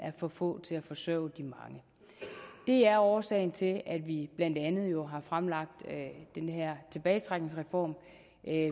for få til at forsørge de mange det er årsagen til at vi blandt andet har fremlagt den her tilbagetrækningsreform